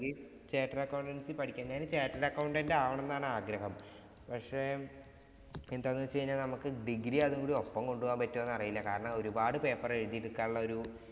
Chattered accountancy പഠിക്കുന്നത് chattered accountant ആകണമെന്നാണ് ആഗ്രഹം. പക്ഷെ, എന്താന്ന് വച്ച് കഴിഞ്ഞാ നമുക്ക് degree യും അതുകൂടി ഒപ്പം കൊണ്ടുപോകാന്‍ പറ്റുവോന്നു അറിയില്ല. കാരണം ഒരു പാട് paper എഴുതിയെടുക്കാനുള്ള ഒരു